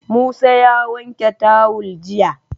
Musa ya wanke tawul jiya